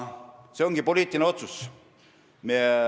See ongi poliitiline otsus.